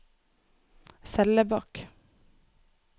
Sellebakk